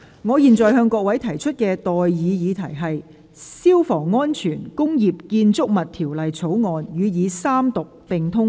我現在向各位提出的待議議題是：《消防安全條例草案》予以三讀並通過。